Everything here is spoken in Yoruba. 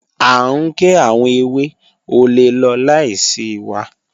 A ń gé àwọn èwè, o lè lọ̀ láisí wà